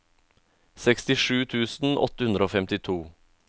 sekstisju tusen åtte hundre og femtito